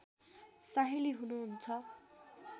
साहिँली हुनुहुन्छ